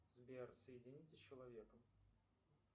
сбер соедините с человеком